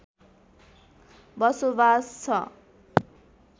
बसोबास छ